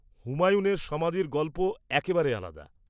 -হুমায়ুনের সমাধির গল্প একেবারে আলাদা।